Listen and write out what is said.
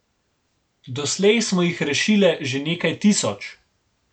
Doslej smo jih rešile že nekaj tisoč.